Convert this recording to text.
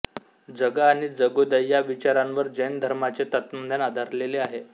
जगा आणि जगू द्या या विचारांवर जैन धर्माचे तत्त्वज्ञान आधारलेले आहे